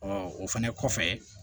o fɛnɛ kɔfɛ